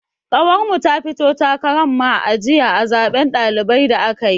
Ƙawar mu ta fito takaran ma'ajiya a zaben ɗalibai da aka yi.